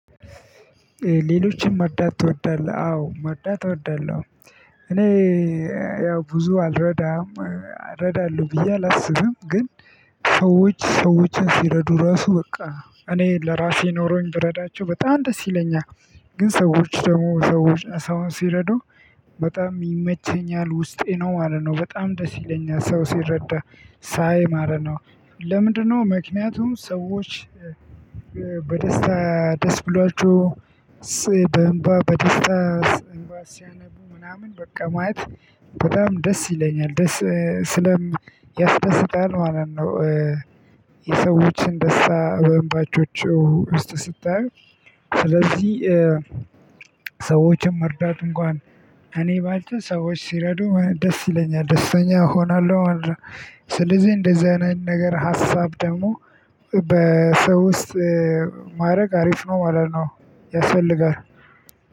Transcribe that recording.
ሌሎችን መርዳት ትወዳለህ አዎ መርዳት እወዳለሁ። እኔ ያው ብዙ አልረዳም እረዳለሁ ብዬ አላስብም ግን ሰዎች ሰዎችን ሲረዱ ራሱ በቃ እኔ ለራሴ ኖሮኝ ብረዳቸው በጣም ደስ ይለኛል። ግን ሰዎች ደግሞ ሰዎች ሰውን ሲረዱ በጣም ይመቸኛል። ውስጤ ነው ማለት ነው በጣም ደስ ይለኛል ሰው ሲረዳ ሳይ ማለት ነው። ለምንድነው ምክንያቱም ሰዎች በደስታ ደስ ብሏቸው በእንባ በደስታ እንባ ሲያነቡ ምናምን ማየት በጣም ደስ ይለኛል። ደስ ያስደስታል ማለት ነው። የሰዎችን ደስታ በእንባቻቸው ሲታይ ስለዚ ሰዎችን መርዳት እንኳን እኔ ባልችል ሰዎች ሲረዱ ደስ ይለኛል። ደስተኛ እሆናለሁ ማለት ነው። ስለዚህ እንደዚህ አይነት ነገር ሀሳብ ደግሞ በሰው ውስጥ ማድረግ አሪፍ ነው ማለት ነው ያስፈልጋል።